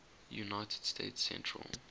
united states central